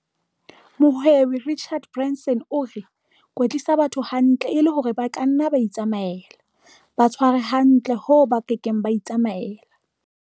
Mohwebi Richard Branson o re- 'Kwetlisa batho hantle e le hore ba ka nna ba itsamaela, ba tshware hantle hoo ba ka keng ba itsamaela.'